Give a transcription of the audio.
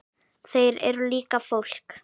Þeir eru líka fólk.